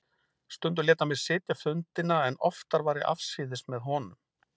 Stundum lét hann mig sitja fundina en oftar var ég afsíðis með honum.